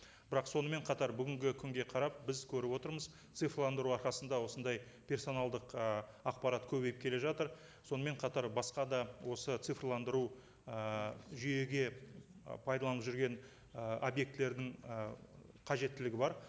бірақ сонымен қатар бүгінгі күнге қарап біз көріп отырмыз цифрландыру арқасында осындай персоналдық ы ақпарат көбейіп келе жатыр сонымен қатар басқа да осы цифрландыру ыыы жүйеге ы пайдаланып жүрген ы объектілердің ы қажеттілігі бар